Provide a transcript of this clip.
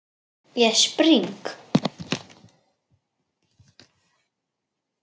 Ég spring.